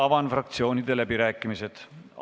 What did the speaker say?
Avan fraktsioonide läbirääkimised.